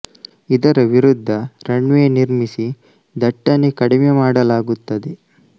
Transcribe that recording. ಇದರ ವಿರುದ್ದ runway ನಿರ್ಮಿಸಿ ದಟ್ತಣೆ ಕಡಿಮೆ ಮಾಡಲಾಗುತ್ತದೆ